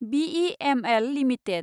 BEML limited